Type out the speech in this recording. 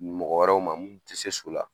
Mɔgɔ wɛrɛw ma mun tɛ se so la